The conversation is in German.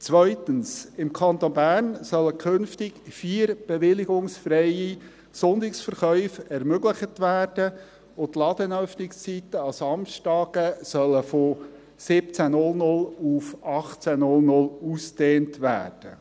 Zweitens: Im Kanton Bern sollen künftig vier bewilligungsfreie Sonntagsverkäufe ermöglicht und die Ladenöffnungszeiten an Samstagen von 17.00 Uhr auf 18.00 Uhr ausgedehnt werden.